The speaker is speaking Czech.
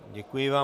Děkuji vám.